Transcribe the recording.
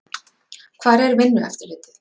Hvar er Vinnueftirlitið?